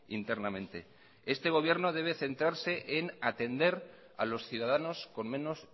internamente este gobierno debe centrarse en atender a los ciudadanos con menos